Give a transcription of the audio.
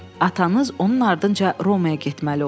Atanız onun ardınca Romaya getməli oldu.